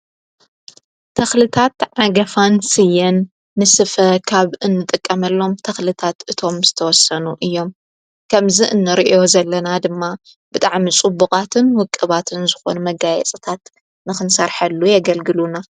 ተኽልታት ዓገፋን ስየን ንስፈ ካብ እንጠቀመሎም ተኽልታት እቶም ዝተወሰኑ እዮም ከምዝ እንርእ ዘለና ድማ ብጣዕም ጹቡቓትን ውቅባትን ዝኾኑ መጋየጽታት ንኽንሣርሐሉ የገልግሉና።